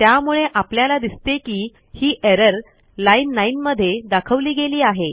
त्यामुळे आपल्याला दिसते की ही एरर लाईन 9मध्ये दाखवली गेली आहे